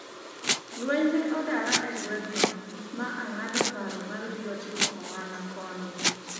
lweny ne odara e gweng' no ma ang'ado paro mar biro timo ohala koni